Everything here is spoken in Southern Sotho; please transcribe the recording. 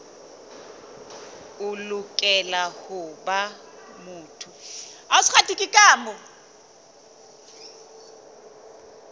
o lokela ho ba motho